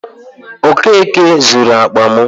Okeke zuru akpa m.